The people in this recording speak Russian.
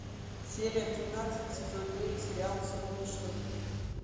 серия тринадцать сезон девять сериал вспомни что будет